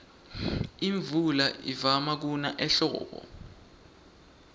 imvula ivama kuna ehlobo